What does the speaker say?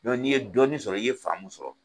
n'i ye dɔɔni sɔrɔ , i ye faamu sɔrɔ